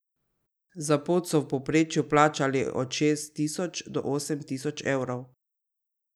Za pot so v povprečju plačali od šest tisoč do osem tisoč evrov.